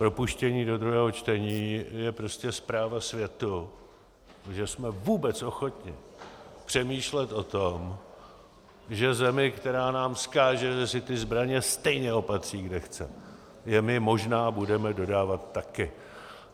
Propuštění do druhého čtení je prostě zpráva světu, že jsme vůbec ochotni přemýšlet o tom, že zemi, která nám vzkáže, že si ty zbraně stejně opatří, kde chce, že my možná budeme dodávat taky.